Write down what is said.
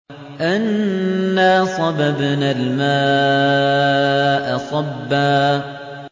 أَنَّا صَبَبْنَا الْمَاءَ صَبًّا